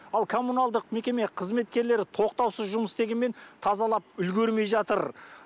ал коммуналдық мекеме қызметкерлері тоқтаусыз жұмыс істегенмен тазалап үлгермей жатыр